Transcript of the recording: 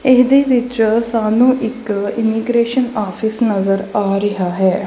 ਏਹਦੇ ਵਿੱਚ ਸਾਨੂੰ ਇੱਕ ਇੰਮੀਗ੍ਰੇਸ਼ਨ ਔਫਿਸ ਨਜ਼ਰ ਆ ਰਿਹਾ ਹੈ।